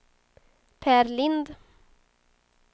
Per Lindh